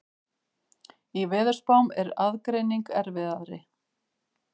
Í veðurspám er aðgreining erfiðari.